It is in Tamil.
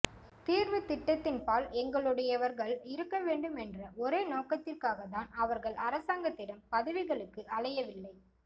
தீர்வுத்திட்டத்தின்பால் எங்களுடையவர்கள் இருக்கவேண்டும் என்ற ஒரே நோக்கத்திற்காகத்தான் அவர்கள் அரசாங்கத்திடம் பதவிகளுக்கு அலையவில்லை